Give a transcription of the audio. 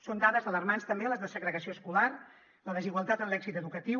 són dades alarmants també les de segregació escolar la desigualtat en l’èxit educatiu